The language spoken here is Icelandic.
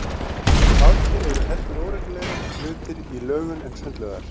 Baðker eru heldur óreglulegri hlutir í lögun en sundlaugar.